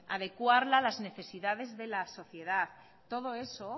adecuarla a la necesidades de la sociedad todo eso